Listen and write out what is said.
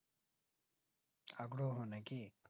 আগ্রহ নাকি